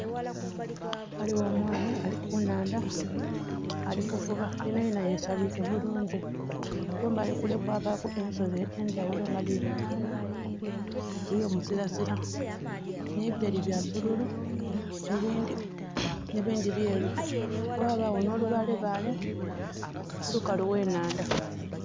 Ghaligho omwana kunhandha alikuvuba yenayena ye'sabike bulung kumbali kule ghaligho ensozi edhendhaghulo nga dhiri mulangi eyo'muzirazira ne'bireri byabbululu ebindhi byeru ghabaagho no'lubaalebaale kubukalu ghenhandha.